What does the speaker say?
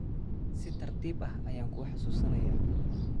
Si tartiib ah ayaan kuu xasuusinayaa